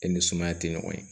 E ni sumaya te ɲɔgɔn ye